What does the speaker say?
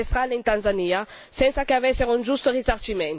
Tutto questo per lasciare spazio a pochi ricchi turisti.